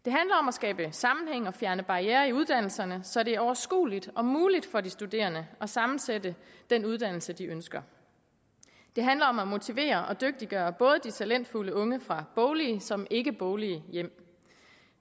skabe sammenhæng og fjerne barrierer i uddannelserne så det er overskueligt og muligt for de studerende at sammensætte den uddannelse de ønsker det handler om at motivere og dygtiggøre både de talentfulde unge fra boglige såvel som ikkeboglige hjem